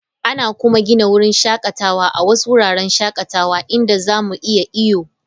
Ana kuma gina wurin shakatawa a wasu wuraren shakatawa inda za mu iya iyo.